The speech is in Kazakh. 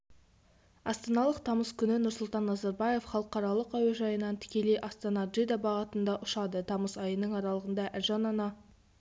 астаналық тамыз күні нұрсұлтан назарбаев халықаралық әуежайынан тікелей астана-джидда бағытында ұшады тамыз айының аралығында әлжан ана